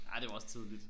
Nej det var også tidligt